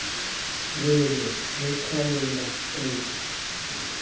re re re qhwaolla kobo